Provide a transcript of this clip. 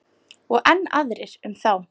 Og enn aðrir um þá.